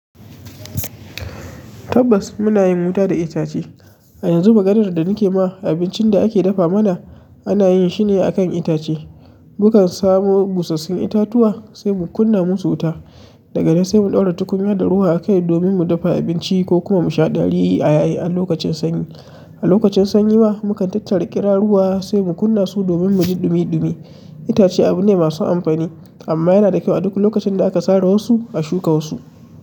Tabbas muna yin wuta da itace. A yanzu maganar da nake ma abincin da ake dafa mana ana yin shi ne akan itace. Mukan samo busassun itatuwa sai mu kunna musu wuta, daga nan sai mu ɗaura tukunya da ruwa a kai domin mu dafa abinci ko kuma mu sha gari a yaye a lokacin sanyi. A lokacin sanyi ba mukan tattara ƙira ruwa sai mu kunna su domin muji ɗumi-ɗumi. Itace abu ne masu amfani amma yana da kyau a duk lokacin da aka sare wasu a shuka wasu.